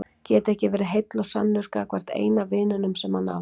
Geta ekki verið heill og sannur gagnvart eina vininum sem hann á.